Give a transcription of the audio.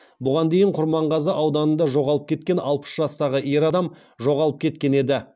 бұған дейін құрманғазы ауданында жоғалып кеткен алпыс жастағы ер адам жоғалып кеткен еді